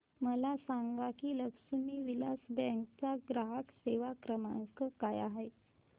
मला सांगा की लक्ष्मी विलास बँक चा ग्राहक सेवा क्रमांक काय आहे